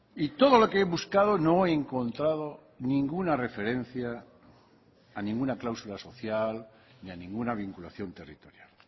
y todo lo que he buscado no he encontrado ninguna referencia a ninguna cláusula social ni a ninguna vinculación territorial